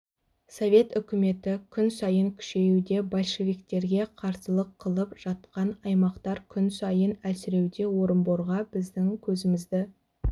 совет үкіметі күн сайын күшеюде большевиктерге қарсылық қылып жатқан аймақтар күн сайын әлсіреуде орынборға біздің көзімізді